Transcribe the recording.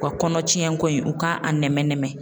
U ka kɔnɔtiɲɛn ko in u k'a nɛmɛ nɛmɛ.